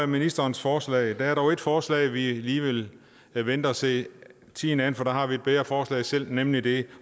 ministerens forslag der er dog et forslag hvor vi lige vil vil vente og se tiden an for der har vi et bedre forslag selv nemlig det